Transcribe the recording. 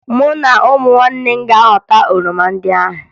Mụ na ụmụnne m ga-aghọta oroma ndị ahụ